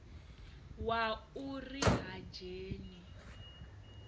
wa u ri ha dzheni